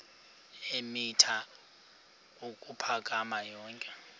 eemitha ukuphakama yonke